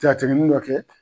Ja tɛmɛ mun ma kɛ